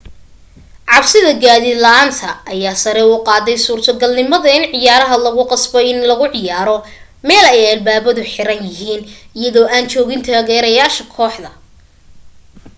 cabsida gaadiid la'aanta ayaa sare u qaadday suurtagalnimada in ciyaarta lagu qasbo inay lagu ciyaaro meel ay albaabadu xiraan yihiin iyadoo aan joogin taageerayaasha kooxda